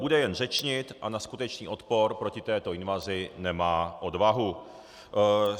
Bude jen řečnit a na skutečný odpor proti této invazi nemá odvahu.